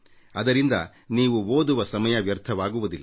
ಅದರಿಂದ ನೀವು ಓದುವ ಸಮಯ ವ್ಯರ್ಥವಾಗುವುದಿಲ್ಲ